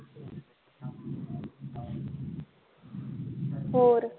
ਹੋਰ